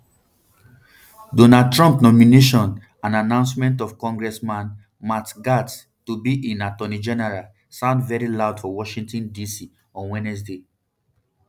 donald trump nomination and announcement of congressman matt gaetz to be im attorney general sound very loud for washington dc on wednesday